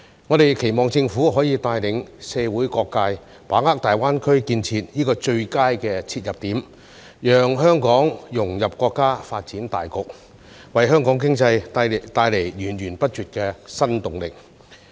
我們期望政府可以帶領社會各界，把握大灣區建設的最佳切入點，讓香港融入國家發展大局，為香港經濟帶來源源不絕的新動力。